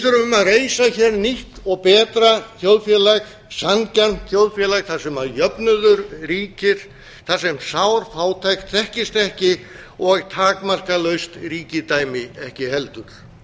þurfum að reisa hér nýtt og betra þjóðfélag sanngjarnt þjóðfélag þar sem jöfnuður ríkir þar sem sár fátækt þekkist ekki og takmarkalaust ríkidæmi ekki heldur